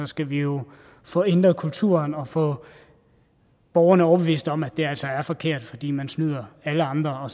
skal vi jo få ændret kulturen og få borgerne overbevist om at det altså er forkert fordi man snyder alle andre og